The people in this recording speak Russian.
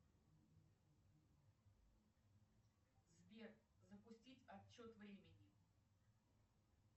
сбер запустить отчет времени